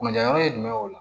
Kunna yɔrɔ ye jumɛn ye o la